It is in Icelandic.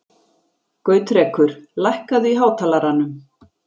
Gautrekur, lækkaðu í hátalaranum.